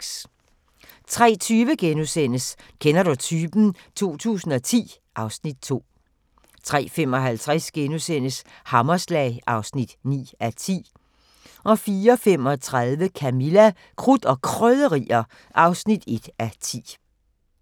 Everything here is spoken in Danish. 03:20: Kender du typen? 2010 (Afs. 2)* 03:55: Hammerslag (9:10)* 04:35: Camilla – Krudt og Krydderier (1:10)